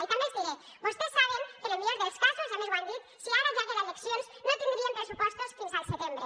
i també els diré vostès saben que en el millor dels casos i a més ho han dit si ara hi haguera eleccions no tindríem pressupostos fins al setembre